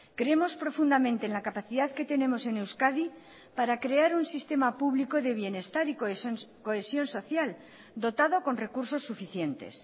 creemos profundamente en la capacidad que tenemos en euskadi para crear un sistema público de bienestar y cohesión social dotado con recursos suficientes